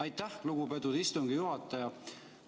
Aitäh, lugupeetud istungi juhataja!